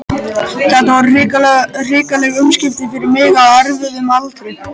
Þetta voru hrikaleg umskipti fyrir mig á erfiðum aldri.